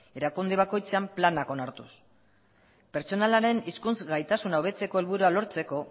erakunde bakoitzean plana onartuz pertsonalaren hizkuntz gaitasun hobetzeko helburua lortzeko